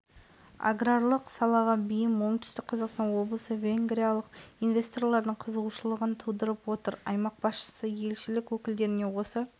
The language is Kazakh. көп кездеседі осының өзі біздің халықтардың ежелден тату қарым-қатыныста болғандығын аңғартады бұдан былай отүстік қазақстан